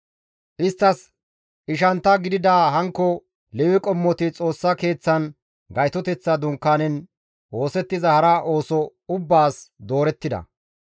Isttas ishantta gidida hankko Lewe qommoti Xoossa Keeththan Gaytoteththa Dunkaanen oosettiza hara ooso ubbaas doorettida.